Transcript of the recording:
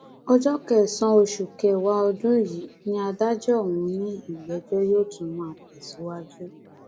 ọjọ kẹsànán oṣù kẹwàá ọdún yìí ni adájọ ọhún ní ìgbẹjọ yóò tún máa tẹsíwájú